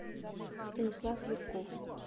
станислав юрков